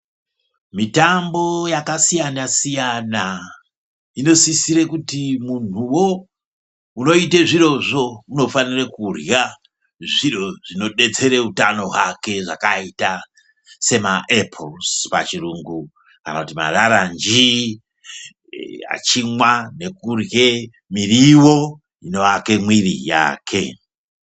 Mitambo yakasiyana-siyana, inosisire kuti muntuvo unoite zvirozvo unofanire kurya zviro zvinobetsere utano hwake. Zvakaita semaepozi pachirungu kana kuti mararanji achimwa nekurwe mirivo inoake mwiri yake.